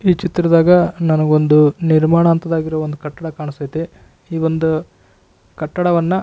ಈ ಚಿತ್ರದಾಗ ನನಗೊಂದು ನಿರ್ಮಾಣ ಹಂತದಲ್ಲಿರೋ ಕಟ್ಟಡ ಕಾಣಿಸ್ತಾಯಿತೇ ಈ ವೊಂದು ಕಟ್ಟಡವನ್ನ --